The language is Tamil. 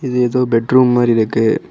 இது ஏதோ பெட் ரூம் மாறி இருக்கு.